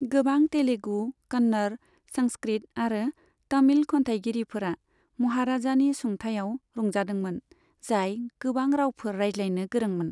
गोबां तेलुगु, कन्नर, संस्कृत आरो तमिल खन्थायगिरिफोरा महाराजानि सुंथाइयाव रंजादों मोन, जाय गोबां रावफोर रायलायनो गोरोंमोन।